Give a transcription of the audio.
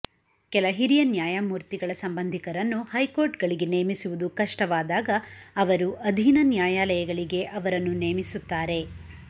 ಕೆಲ ಹಿರಿಯ ನ್ಯಾಯಮೂರ್ತಿಗಳ ಸಂಬಂಧಿಕರನ್ನು ಹೈಕೋರ್ಟ್ ಗಳಿಗೆ ನೇಮಿಸುವುದು ಕಷ್ಟವಾದಾಗ ಅವರು ಅಧೀನ ನ್ಯಾಯಾಲಯಗಳಿಗೆ ಅವರನ್ನು ನೇಮಿಸುತ್ತಾರೆ